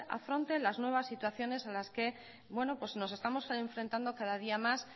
afronte las nuevas situaciones a las que nos estamos enfrentando cada día más